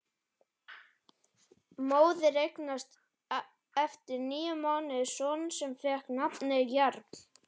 Móðir eignaðist eftir níu mánuði son sem fékk nafnið Jarl.